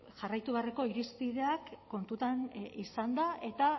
jarraitu beharreko irizpideak kontutan izanda eta